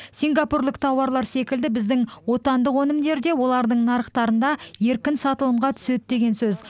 сингапурлік тауарлар секілді біздің отандық өнімдер де олардың нарықтарында еркін сатылымға түседі деген сөз